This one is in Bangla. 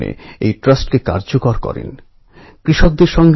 আমাদের যুবসমাজের কাছে এ এক অতুলনীয় সুযোগ